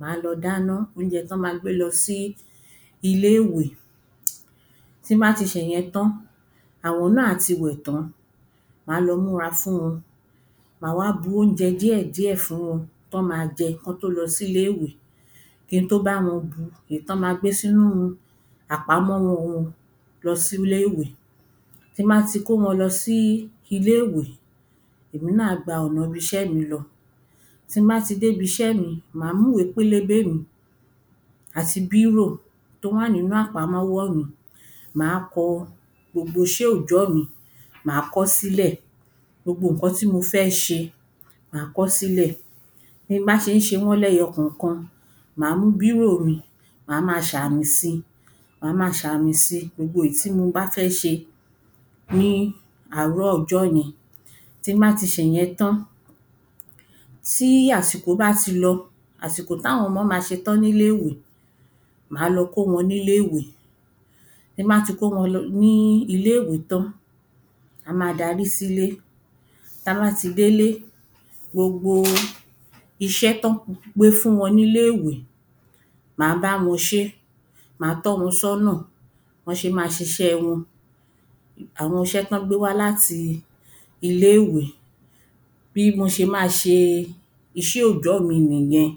Má lọ dáná óunjẹ t’ọ́ ma gbé lọ sí iléèwé. Ti n bá ti ṣè yẹn tán, àwọn náà á ti wẹ̀ tán. Má lọ múra fún wọn. Má wá bu óunjẹ díẹ̀ díẹ̀ fún wọn. t’ọ́ ma jẹ k’ọ́ tó lọ sí iléèwé ki n tó bá wọn bu èé t’ọ́ ma gbé sí nú àpamọ́wọ́ wọn lọ sí iléèwé. Ti n bá ti kó wọn lọ sí iléèwé, ẹ̀mi náà á gba ọ̀na 'bi 'ṣẹ́ mi lọ. Ti n bá ti dé 'bi 'ṣẹ́ mi, má mú ‘wé pélébé mi àti bírò t’ó wà n'ínú àpamọ́wọ́ mi. Má kọ gbogbo iṣẹ́ òjọ́ mi, má kọ́ s'ílẹ̀. Gbogbo ǹkan tí mo fẹ́ ṣe, má kọ́ s'ílẹ̀. Ti n bá ṣe ń ṣe wọ́n lẹ́yọ kọ̀kan, má mú bírò mi má ma ṣ'àmì si. Má ma ṣ'àmì si gbogbo ìí tí mo bá fẹ́ ṣe. ní àárọ̀ ọjọ́ yẹn. Ti n bá ṣe ìyẹn tán, tí àsìkò bá ti lọ àsìkò t’áwọn 'mọ ma ṣetán n'íléèwé má lọ kó wọn n'íléèwé Ti n bá ti kó wọn lọ ní iléèwé tán, ma ma darí s’íle. T’a bá ti délé, gbogbo iṣẹ́ t’ọ́ gbé fún wọn n'íléèwé má báwọn ṣé Má tọ́ wọn s'ọ́nà bọ́ ṣe ma ṣ'iṣẹ́ wọn àwọn 'ṣẹ́ t’ọ́ gbé wá l'áti iléèwé. Bí mo ṣe má a ṣe iṣẹ́ òjọ́ mi nì yẹn.